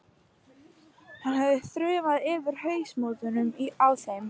Hann hefði þrumað yfir hausamótunum á þeim.